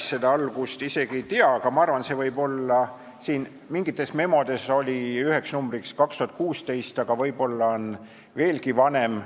Ma päris algust isegi ei tea, mingites memodes oli üheks aastanumbriks 2016, aga see võib olla veelgi vanem.